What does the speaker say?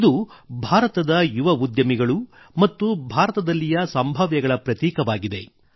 ಇದು ಭಾರತದ ಯುವ ಉದ್ಯಮಿಗಳು ಮತ್ತು ಭಾರತದಲ್ಲಿಯ ಸಂಭಾವ್ಯಗಳ ಪ್ರತೀಕವಾಗಿದೆ